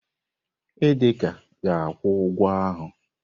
Idika ga-akwụ ụgwọ ahụ.